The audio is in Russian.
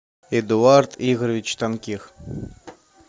эдуард игоревич тонких